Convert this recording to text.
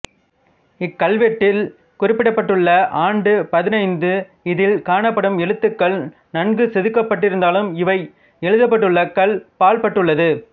இக்கல்வெட்டில் குறிப்பிடப்பட்டுள்ள் ஆண்டு பதினைந்து இதில் காணப்படும் எழுத்துக்கள் நன்கு செதுக்கப்பட்டிருந்தாலும் இவை எழுதப்பட்டுள்ள கல் பாழ்பட்டுள்ளது